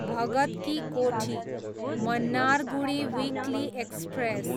Bhagat ki Kothi, Mannargudi weekly express